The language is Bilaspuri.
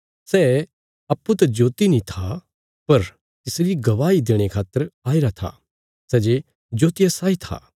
सै अप्पूँ त ज्योति नीं था पर तिसरी गवाही देणे खातर आईरा था सै जे ज्योतिया साई आ